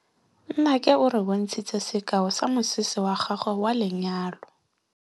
Nnake o re bontshitse sekaô sa mosese wa gagwe wa lenyalo.